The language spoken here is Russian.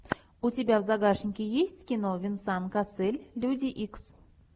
у тебя в загашнике есть кино венсан кассель люди икс